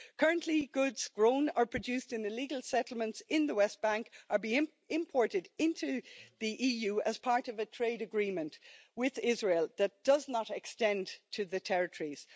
Currently goods grown or produced in illegal settlements in the West Bank are being imported into the EU as part of a trade agreement with Israel that does not extend to the territories.